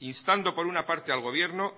instando por una parte al gobierno